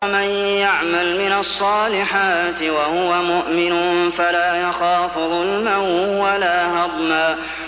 وَمَن يَعْمَلْ مِنَ الصَّالِحَاتِ وَهُوَ مُؤْمِنٌ فَلَا يَخَافُ ظُلْمًا وَلَا هَضْمًا